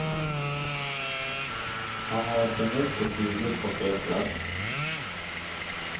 Han har för mycket huvud på fel plats.